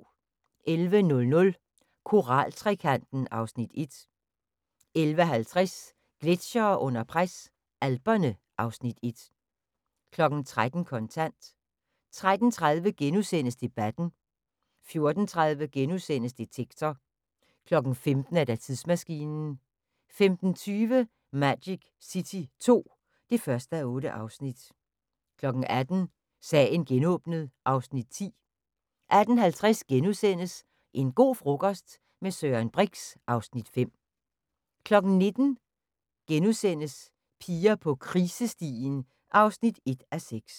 11:00: Koral-trekanten (Afs. 1) 11:50: Gletsjere under pres – Alperne (Afs. 1) 13:00: Kontant 13:30: Debatten * 14:30: Detektor * 15:00: Tidsmaskinen 15:20: Magic City II (1:8) 18:00: Sagen genåbnet (Afs. 10) 18:50: En go' frokost - med Søren Brix (Afs. 5)* 19:00: Piger på krisestien (1:6)*